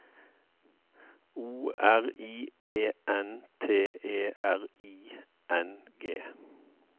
O R I E N T E R I N G